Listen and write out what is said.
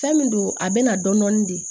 Fɛn min don a bɛna dɔɔnin de